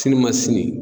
Sini ma sini